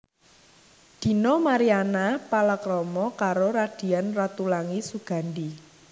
Dina Mariana palakrama karo Radian Ratulangi Sugandi